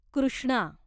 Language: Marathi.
कृष्णा